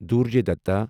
دُرجوے دتا